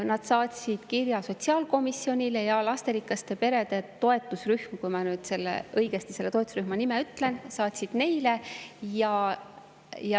Nad saatsid kirja sotsiaalkomisjonile ja lasterikaste perede toetusrühm – kui ma ikka õigesti selle toetusrühma nime ütlesin – saatis meile.